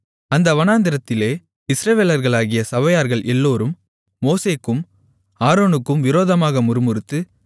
அந்த வனாந்திரத்திலே இஸ்ரவேலர்களாகிய சபையார்கள் எல்லோரும் மோசேக்கும் ஆரோனுக்கும் விரோதமாக முறுமுறுத்து